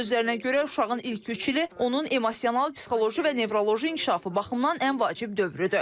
Onun sözlərinə görə uşağın ilk üç ili onun emosional, psixoloji və nevroloji inkişafı baxımdan ən vacib dövrüdür.